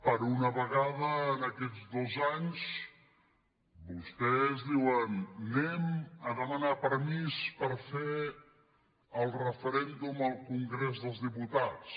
per una vegada en aquests dos anys vostès diuen anem a demanar permís per fer el referèndum al congrés dels diputats